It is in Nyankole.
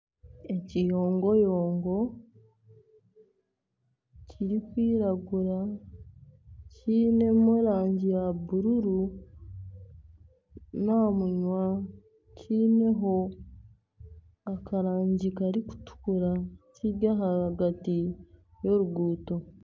Ekiyongoyongo kirikwiragura kiinemu erangi ya bururu n'omunwa kiineho akarangi karikutukura kiri ahagati y'oruguuto.